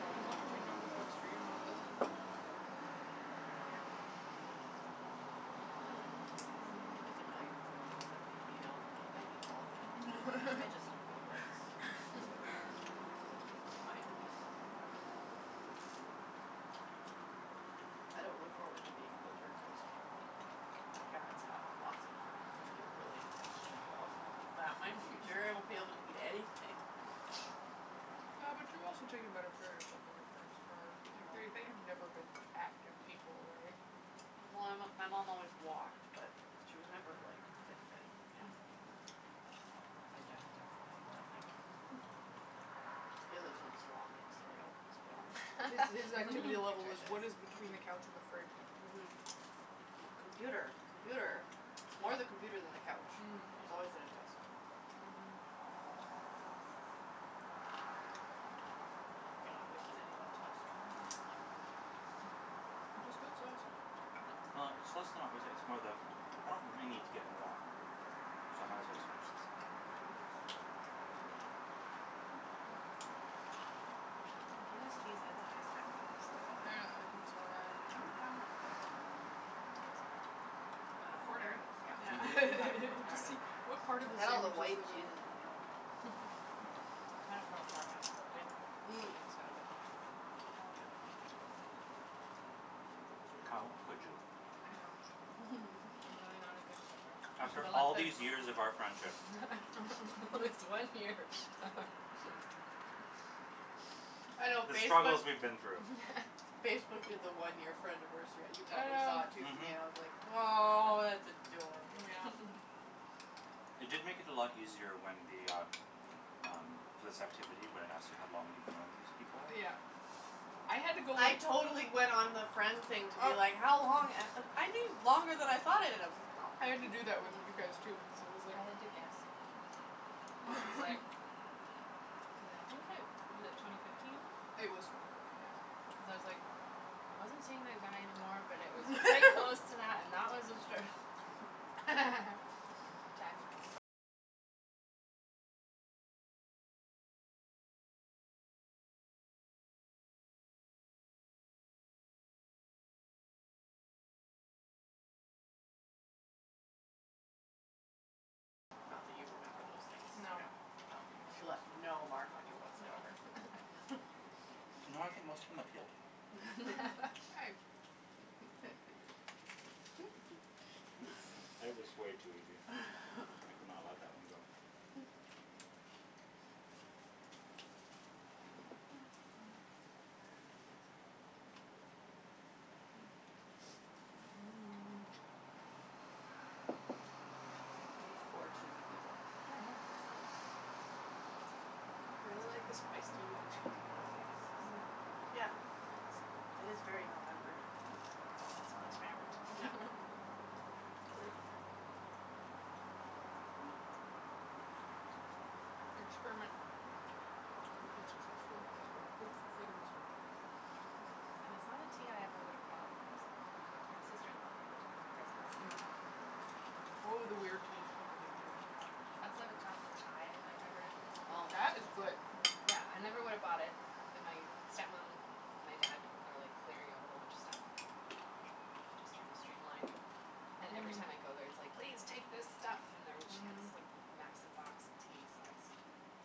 Yeah, as long as you know what works for you and what doesn't. That's all that really matters, right? Yeah. It's a learning process. Mhm. There's a million food things that make me ill. I eat all of them. I just have Rolaids. Why? I don't look forward to being older cuz my parents have lots of like, food related things, and like oh Is that my future? I won't be able to eat anything. Yeah but you've also taken better care of yourself than your parents are, like, they they have never been active people, right? Well Well my my mom always walked, but she was never like fit fit, yeah. Mm. My dad definitely, nothing. He lives on salami and cereal, let's be honest. His his activity level was what Nutritious. is between the couch and the fridge. Mhm. Mhm. Mhm. Computer, Mhm. computer, it's more the computer than the couch. Mm. He's always at his desk. Mhm. Mhm. You're not wasting any of that sauce. That's good sauce. Well, it's less than not wasting it, it's more the I don't really need to get more, so I might as well just finish this up. Mhm. The Guinness cheese has a nice earthiness to it. I know, I think so, yeah I think I haven't found that one yet. It looks burnt. I got a Ah, there corner. it is. Yeah. All Yeah. Mhm. right, there it Just i see, s. what part of the I had all the sandwich is white with a cheeses in the other one. It kinda fell apart when I flipped it? Mm. Mm. Flippings got a bit mixed up. All good. How could you? I know. I'm really not a good flipper. After all these years of our friendship. This one year. I know The struggles Facebook's we've been through. Facebook did the one year friendiversary you probably saw it Yeah. too for me, Mhm. and I was like, "Aw, that's adorable." Mm yeah. It did make it a lot easier when the, ah, um, this activity when it asks you how long you've known these people? Yeah. I had to go I totally went on the friend Well, thing to be like, how long, a- u- I knew longer than I thought I did. I was like Oh. I had to do that with you guys, too, because it was like I had to guess. It What? was like. Cuz I think I was it twenty fifteen? It was twenty fifteen, yes. Cuz I was like, I wasn't seeing that guy anymore, but it was quite close to that, and that was obstruct Not that you remember those things, no, no. She left no mark on you whatsoever. No. No, I think most of them have healed. Hey. It was way too easy, I could not let that one go. Mm, cheesy. We're just four cheesy people. Mhm. It's I really like the spiced tea with true. the cheese and the apples, it's Mm. like Yeah, so good. that is very November. Successful Yep. experiment. Your experiment has been successful and has been approved for further research. And it's not a tea I ever would have bought Mhm. for myself, my sister in law gave it to me for Christmas. Mhm. Oh, the weird teas people people give you. Yeah. I still have a chocolate chai in my cupboard. Oh. That was good. Yeah, I never would have bought it, and my step mom and my dad are like clearing out a whole bunch of stuff and just trying to stream line And every Mhm. time I go there it's like, "Please take this stuff!" And there she had this like Mhm. massive box of tea so I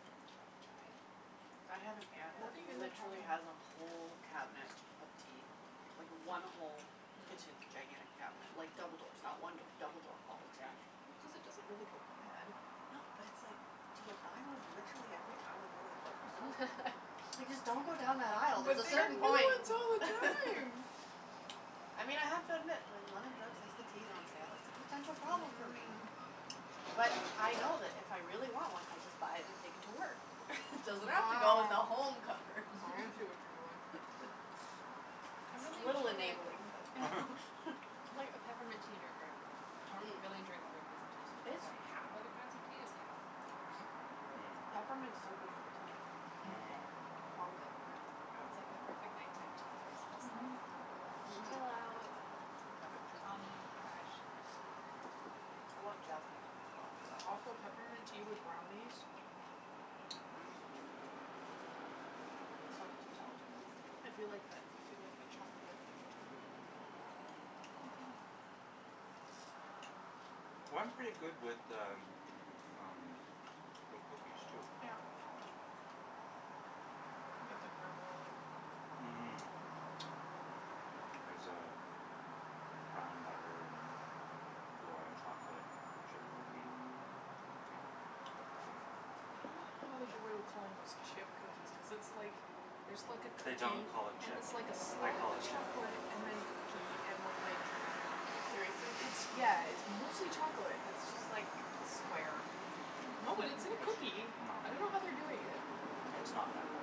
scored the chocolate chai. I have an aunt that Hoarding is a trouble. literally has a whole cabinet of tea. Like, one whole kitchen gigantic cabinet like, double doors not one door, double door. All of tea. Well, cuz it doesn't really go bad. No but it's like, do you buy one literally every time you go to the grocery store? Like just don't go down that aisle, there's But a they have certain new point! ones all the time! I mean I have to admit when London Drugs has the teas on sale, it's a potential Mhm problem for me. mhm. But I know that if I really want one I just buy it and take it to work. Doesn't have to go in the Oh. home cupboard. I see what you're doing. I'm It's a really little usually like enabling, but I'm like a peppermint tea drinker at home. I don't Mm. really drink other kinds of teas so I don't have other kinds of tea is kind of for other people when they're over. It's Peppermint's so good for the tummy. Mm. Mm. Mmm. Calms it, yeah. I It's like Yeah. the perfect night time tea, cuz it just like Mhm. Relaxes me. Chill out and have have it, it too. calming, and fresh and I love jasmine, as well, for that. Also peppermint tea with brownies. Mm. Mmm. Mmm. Such a good thing. So much intelligence at this table. I feel like that, I feel like that chocolate chocolate mint thing which I do. Mhm. Well it's pretty good with the, um, with cookies too. Yeah. Can get the Granville Island cookies. Mmm. There's uh, brown butter and flora chocolate chip cookie at Mmm. the I dunno how they get away with calling those chip cookies cuz it's like, there's like a They cookie don't call it and chip. it's like a I slab call of it chip. chocolate, and then cookie, and then like, Mmm. Seriously? it's, yeah, it's mostly chocolate. Mmm. No, but it's in a cookie. It's, no. I dunno how they do it yet. It's not that bad.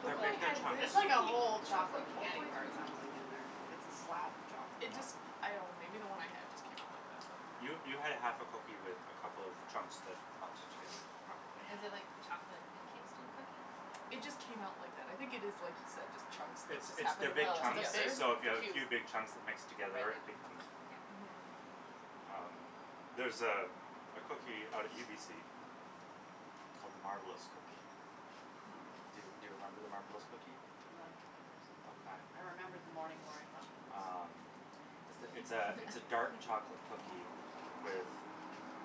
The They're one I big, big had, when chunks. the It's like a cookie whole chocolate chocolate all the candy way bar through it the c- sounds like, in there. Like it's a slab of chocolate. It Mm. No. just, I dunno maybe the one I had just came out like that but You, you had a half a cookie with a couple of chunks that melted together. Probably. Is it like chocolate encased in cookie? It just came out like that, I think it is just like you said, just chunks that It's just it's happened they're to big melt chunks, together. so if you have a Oh. few big chunks that mix It's together becomes Mhm. like Um, there's uh, a a cookie out at UBC big called the Marbleous cookie. cube. Do, do you remember the Marbleous cookie? I'm not a cookie person. Okay. I remember the Morning Glory muffins. Um, it's th- it's a it's a dark chocolate cookie with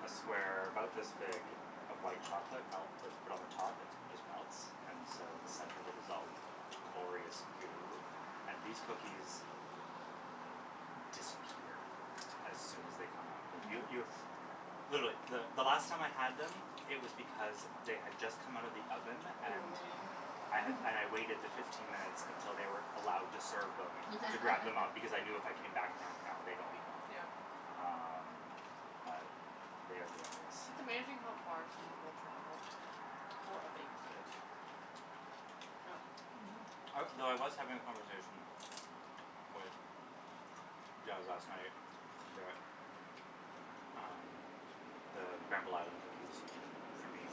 a square about this big of white chocolate melt that's put on the top and it just melts and so the center of it is all glorious Mm. goo, and these cookies, disappear as soon as they come out. Yo- Mhm. You You were literally the the last time I had them it was because they had just come out of the oven and waiting. I had and I waited the fifteen minutes until they were allowed to serve them to grab them up because I knew if I came back in half an hour they'd all be gone. Yep. Wow. Um, but they are glorious. It's amazing how far someone will travel for a baked good. Yeah. Mhm. I well, I was having a conversation with Jas last night that um, the Granville Island cookies for me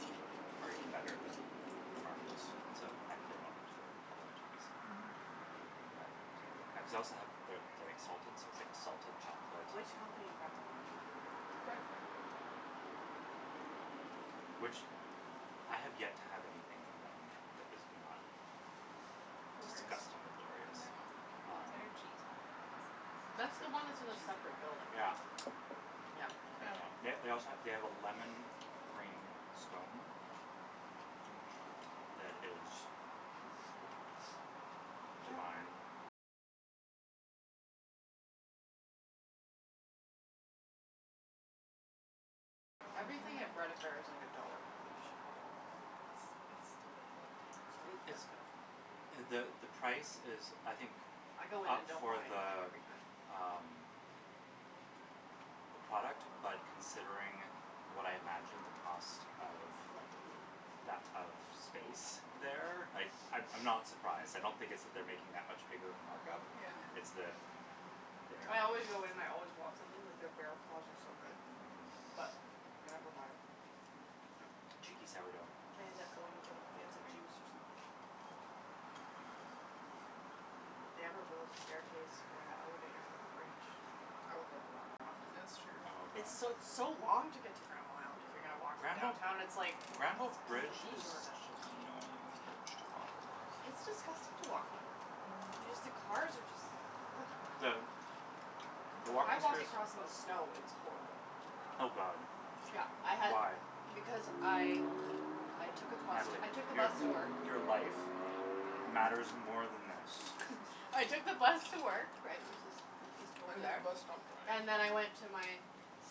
are even better than the Marbleous, so thankfully I don't have to go all the way out to UBC. Mhm. But I cuz I also have the the exalted so it's like a salted Mm. chocolate Which company in Granville Island? Bread affair. Oh. Oh. Hmm. Mm. Which, I have yet to have anything from them that was not Glorious. disgustingly glorious. Yeah. Their cheese Um, bread is the best. is That's the one that's The in a cheese and it? separate building, garlic. right? Yeah. Yeah. Yep. They they also ha- they have a lemon cream scone that is Everything at Bread Affair is like a dollar more than it should be though. But it's it's still worth it. So It it's expensive. the the price is I think I go in up and don't for buy anything the every time. um the product. but considering what I imagine the cost of, Mm. that of that of space there, Mm. like, I'm I'm not surprised, I don't think it's that they're making that much bigger of a markup. Yeah. It's Mm. that there I always go in and I always want something, like, their bear claws are so good. Mhm. But I never buy it. Yep. Cheeky sourdough. I end up going and getting Heard it from fancy me. juice or something. If they ever build a staircase or the elevator from the bridge I will go a lot more often. That's true. Oh It's god. so, it's so long to get to Granville Island if you're gonna Mm. walk from Granville downtown and it's like, Granville cuz of the bridge is detour. such an annoying bridge to walk over. It's disgusting to walk on. Y- Mm. just the cars are just like The The I walking walked space across in the snow, it was horrible. I Oh know. god. Yeah, I had Why? Because I I took out the bus to, Natalie, I took the your bus to work. your life matters more than this. I took the bus to work right, which is, it's just And over then the there. bus stopped drying. And then I went to my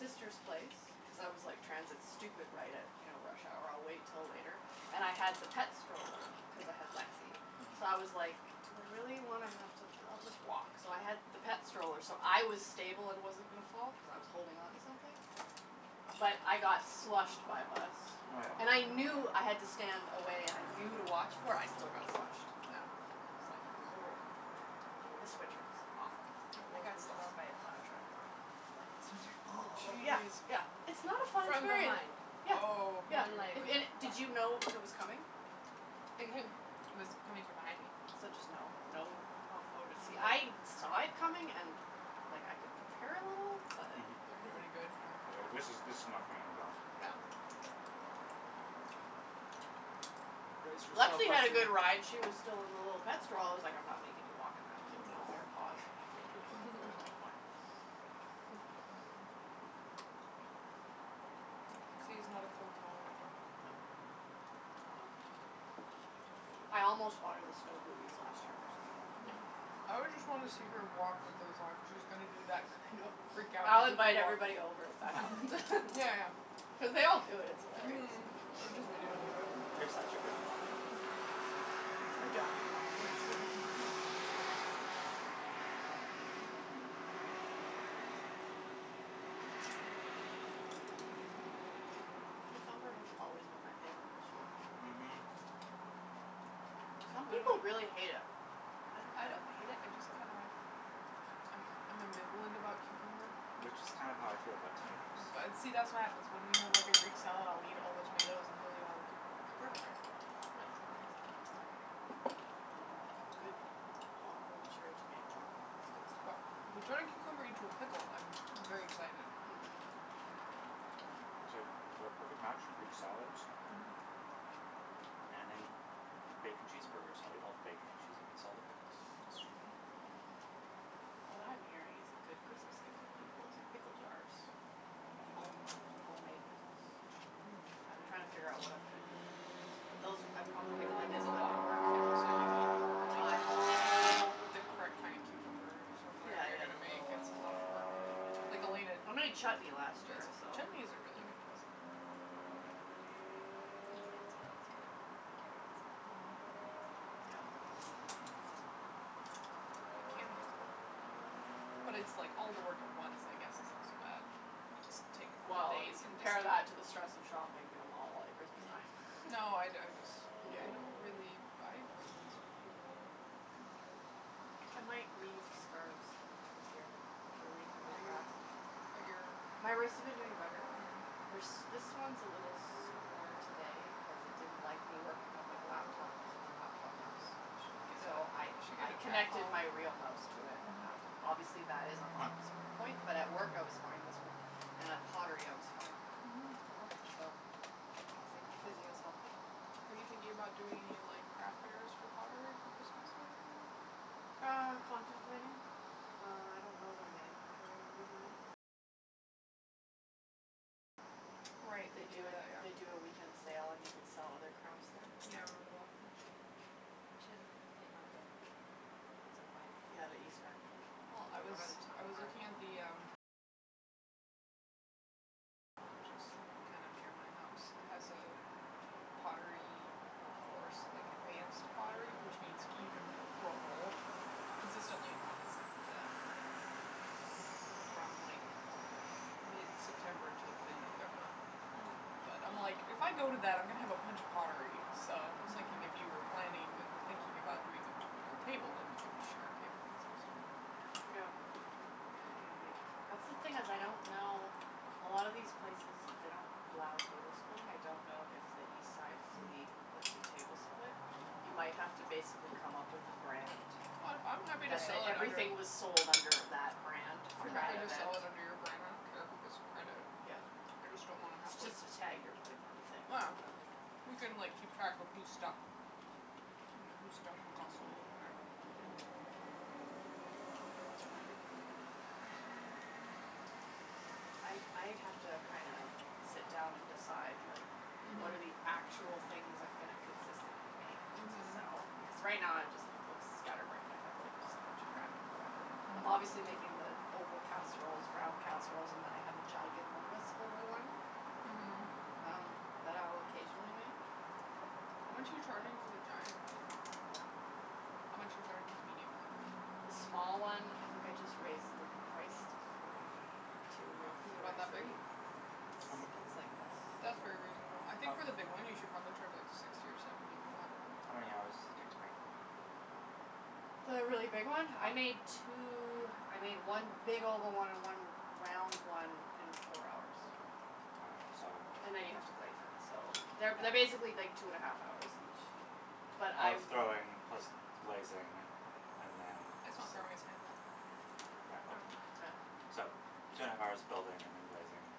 sister's place cuz I was like, transit stupid, right at you know, rush hour, I'll wait till later. And I had the pet stroller cuz I had Lexi. Mhm. So I was like, "Do I really wanna have to, I'll just walk." So I had the pet stroller so I was stable and wasn't gonna fall, cuz I was holding onto something. But I got slushed by a bus. Oh yeah. And I Mm. knew I had to stand away and I knew to watch for it, I still got slushed. I was like This winter was awful. Yeah. It I was got slushed by really a bad. plow truck walking home from work last winter. Oh, Oh, yeah, jeez. yeah, it's not a fun From experience. behind. Yeah, Oh yeah, One leg if was just did wet. you know it was coming? It w- it was coming from behind me. So just, no, no, oh I woulda been, see I'm I like saw Yeah it coming and and like, I could prepare a little but Didn't do any good, yeah. It like, Yeah. this is this is not gonna end well. Yeah. Brace yourself, Lexi had a Lexi! good ride, she was still in the little pet stroll- I was like, I'm not making you walk in that with your Mm little aw. bare paws. She woulda been That was frozen. like fine. Mhm. Lexi is not a cold tolerant dog. No. Nope. I almost bought her the snow booties last year, actually. Mm. I would just wanna see her walk with those on cuz she was gonna do that I thing know. of freak out I'll goofy invite walk. everybody over if that happens. Yeah, yeah. Cuz they all do it, it's hilarious. Mhm! Or just video tape it. You're such a good mom. I'd document the torture. Yeah. Cucumber has always been my favorite vegetable. Mhm. Some people really hate it. I don't I don't hate it, I just kinda I'm I'm ambivalent about cucumber. Which is kind of how I feel about tomatoes. See, that's what happens, when we have like a greek salad, I'll eat all the tomatoes and he'll eat all the know cucumbers, it's Perfect. perfect. No. That works. Mm, a good homegrown cherry tomato, though, that's good But stuff. if you turn a cucumber into a pickle I'm very excited. Mm, mhm. Mm, it's like we're a perfect match for greek salads. Mhm. And in bacon cheeseburgers, I'll eat all the bacon and she's eats all the pickles. What I'm hearing is a good Christmas gift for people is pickle jars. Home homemade pickles. I've been trying to figure out what I'm gonna do Mm. for Christmas. But those, I probably would've Pickling is a lotta work. And also, you need, like Time. You need the correct kinda cucumbers, or Yeah, whatever you're yeah, gonna the make little ones. It's a lotta work or Like Elena I d- made chutney last Who does year, every- so Chutney is a really Mm. good present. Yeah. Um Pickled beans are always good, and carrots. They're Mhm. pretty easy. Yeah. Hmm. Mm. But canning is a lotta work. Yeah. But it's like all the work at once, I guess it's not so bad. You just take a couple Well, days you and just compare that do it. to the stress of shopping at a mall at Christmas time. Mm. No, I d- I dis- No. I don't really buy presents for people. Kinda terrible, but I might weave scarves this year. They're reasonably Are you fast. But your My wrists have been doing better. Mm. They're s- this one's a little sore today cuz it didn't like me working on my laptop using the laptop mouse. You should get So I a You should get I a connected trackball. my real mouse to it and Mhm. that, obviously that is a Hmm. hot s- point, but at work I was fine this week. And at pottery, I was fine. Mhm. So, I think the physio's helping. Are you thinking about doing any like craft fairs for pottery for Christmas, or anything like that? Uh, contemplating. Uh, I don't know that my inventory will be high enough. Right, they They do do it, that, they yeah. do a weekend sale and you can sell other crafts there. Yeah, I remember Mm. that. We should flea market at some point. Yeah, the East Van Flea. Well I was I was looking at the, um Which is kind of near my house It has Oh. a pottery course, like, advanced pottery which means c- you can throw a bowl. Consistently, I'm like "yes, I can do that." Um From like, mid-september to mid-november. Mm. But, I'm like, if I go to that, I'm gonna have a bunch of pottery. So I was thinking if you were planning or thinking about doing a a table, if we could just share a table and sell stuff. That's the thing is, I don't know, a lot of these places, they don't allow table splitting, I don't know if the East Side Flea Hmm. lets you table split. You might have to basically come up with a brand. I'm happy to That, sell, that like, under everything was sold under that brand I'm for happy that to event. sell it under your brand, I don't care who gets the credit. Yeah. I just don't wanna have like It's just a tag you're putting on the thing or whatever. Ah. We can, like, keep track of whose stuff Mm whose stuff and got sold, and whatever. Yeah. Mhm. It might be fun to do. I I have to kinda sit down and decide like, what are Mhm. actual things I'm gonna consistently make to Mhm. sell, because right now I'm just, it looks scatterbrained, I have like just a bunch of random whatever. I'm Mhm. obviously making the oval casseroles, round casseroles, and then I have a giganormous oval one Mhm. um, that I'll occasionally make. How much are But you charging for the giant one? I don't know yet. How much are you charging for the medium one? The small one, I think I just raised the price to forty two or H- Is it about forty that big? three. It's How m- it's like this. That's very reasonable I think for How the big one, you should probably charge like, sixty or seventy for that. How many hours does it take to make? The really big one? I How made two, I made one big oval one and one round one in four hours. Mkay, so And then you have to glaze it, so They're, they're Yeah. basically like two and a half hours each. But I Of w- throwing plus glazing and then It's not throwing, it's handle. Yeah. Yeah. So, two and a half hours of building and then glazing.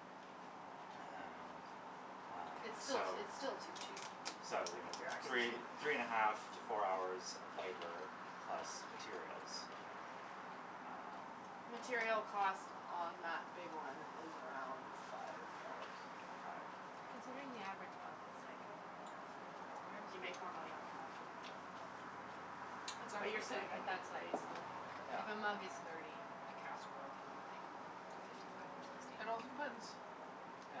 And Um, It's still t- it's so still too cheap. So, you Like know, if you're actually three three and a half to four hours of labor plus materials. Um Material cost on that big one is around five dollars. Mkay. Considering the average amount is like, thirty dollars. You make more money on a mug, yeah. But Exactly. but you're saying I But could that's like, raise the Yeah. if a mug is thirty, a casserole can be like fifty five or sixty. It also depends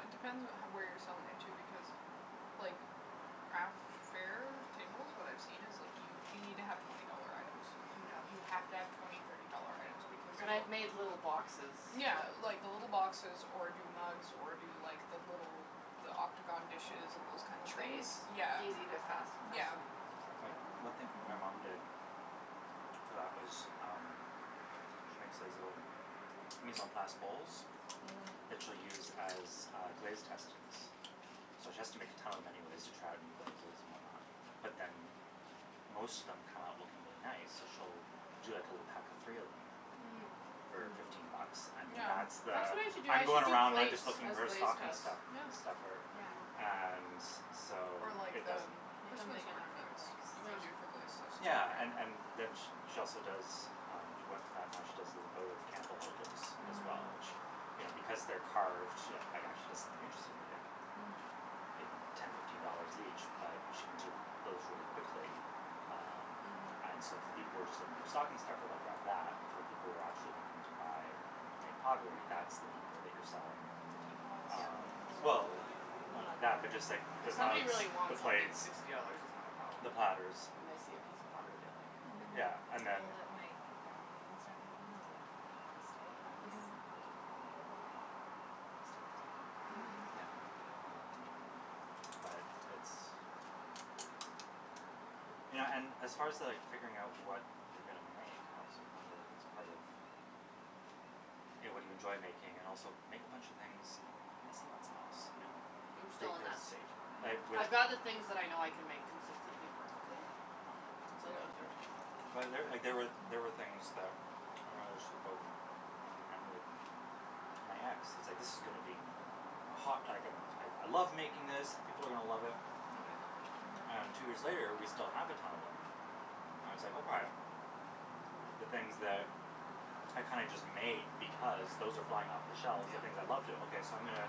It depends what how where you're selling it, too. Because, like, craft fairs, tables, what I've seen is like, you you need to have twenty dollar items. You Yeah. you have to have twenty, thirty dollar items because And I've of made little boxes Yeah that like, the little boxes, or do mugs, or do like, the little the octagon dishes and those kinda things. Trays. Yeah. Easy to, Mm. fast, fast Yeah. to make, so But one thing my mom did Mhm. for that was, um she makes these little mise en place bowls Mhm. that she'll use as, uh, glaze testings. So she has to make a ton of them anyways to try out new glazes and whatnot. But then m- most of them come out looking really nice, so she'll do like a little pack of three of them Mm. for fifteen bucks, Mm. and then Yeah. that's That's the what I should do, "I'm I going should do around and I'm plates just looking as for a glaze stocking tests. stu- Yeah. stuffer" Yeah. Yeah. and so Or like, it the doesn't m- Make 'em Christmas big enough for ornaments. like, You could do sushi. Yeah. for glaze tests too, Yeah, right? and and then sh- she also does um, she went from that and now she does little votive candle holders as well, Mm. which, you know because they're carved, you know, actually does something interesting, they're like Mhm. you know, ten, fifteen dollars each but she can do those really quickly. Um And so Mhm. if the people were just looking for stocking stuffer they'll grab that. For the people who are actually looking to buy homemade pottery, that's the people that you're selling The teapots. um Well, The none of mug that, but just hoarders, like like the If me. somebody mugs, really the wants something, the plates sixty dollars is not a problem. the platters. When they see a piece of pottery they like. Mhm. Yeah, and People then that make onions and stuff moving on the by the stove, that was, Mhm. like, at least fifty. Yeah. Mhm. Yeah. Something like Um that. But it's You know, and as far to like figuring out what you're gonna make I also wonder if it's part of A, what do you enjoy making and also make a bunch of things and see what sells. Yeah. Yeah. I'm still on Because that stage. like, Mm. with I'd rather things that I know I can make consistently perfectly. Yeah. So those But are, there, like, big there were, there were things that Mm. mom and with my ex, it was like "this is gonna be a hot" like a "I I love making this, and people are gonna love it." Nobody loves it. And two years later we still have a ton of them. And it's like, okay. The things that are kinda just made because, those are flying off the shelves the Yeah. things I love to, okay so I'm gonna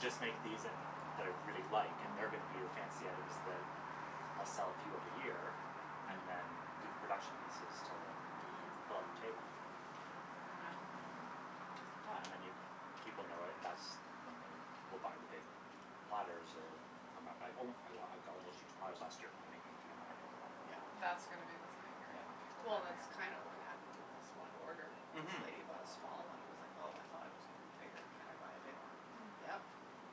just make these and, that I really like, and they're Mhm. gonna be the fancy items that I'll sell a few of a year and then Mhm. do the production pieces to Mm. Mm. fill up table. Yeah. Um Yeah, and then you, people know it and that's when they will buy the big platters, or come back be like, "Oh I got, I got one of those huge platters last year, can you make me three more?" Yeah. That's gonna be the thing, right? Yeah. People Well hogging that's Mhm. up kinda what happened with this one order. This Mhm. lady bought a small one and was like "Oh, I thought it was gonna be bigger, can I buy a big one?" I was like, Mm. "Yep,